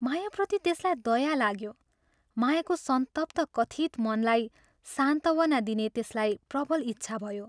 मायाप्रति त्यसलाई दया लाग्यो मायाको संतप्त कथित मनलाई सान्त्वना दिने त्यसलाई प्रबल इच्छा भयो।